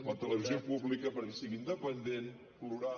la televisió pública perquè sigui independent plural